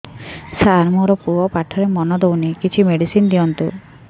ସାର ମୋର ପୁଅ ପାଠରେ ମନ ଦଉନି କିଛି ମେଡିସିନ ଦିଅନ୍ତୁ